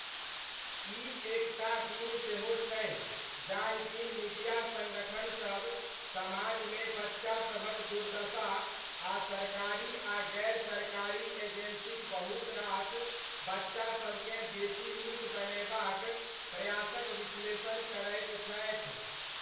ई एक टा दिन सेहो छै जाहि दिन मीडिया सङ्गठनसब समाजमे बच्चासभक दुर्दशा आ सरकारी आ गैर सरकारी एजेन्सीक बहुतरास बच्चासबकेँ बेसी नीक बनयबाक प्रयासक विश्लेषण करैत छथि।